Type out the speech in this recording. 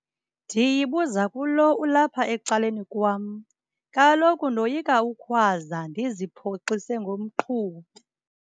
Ndiyibuza kulo ulapha ecaleni kwam. Kaloku ndoyika ukhwaza ndiziphoxise ngomqhubi.